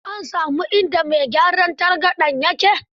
An sami inda mai gyaran targaɗen ya ke?